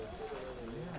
Gördük.